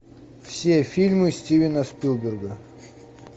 все фильмы стивена спилберга